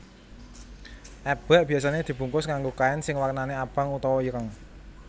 Eblek biasane dibungkus nganggo kain sing warnane abang utawa ireng